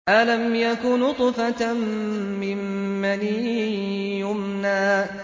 أَلَمْ يَكُ نُطْفَةً مِّن مَّنِيٍّ يُمْنَىٰ